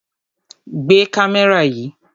Gbé kámẹ́rà yìí!